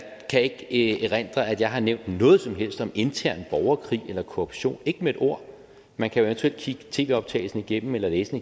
kan ikke erindre at jeg har nævnt noget som helst om intern borgerkrig eller korruption ikke med et ord man kan eventuelt kigge tv optagelsen igennem eller læse